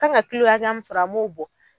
Kan ŋa kilo hakɛya min sɔrɔ an b'o bɔ